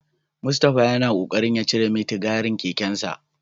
Mustapha yana kokarin ya cire mitigarin kekensa.